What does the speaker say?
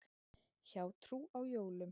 Hjátrú á jólum.